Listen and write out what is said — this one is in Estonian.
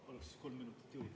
Palun kolm minutit juurde!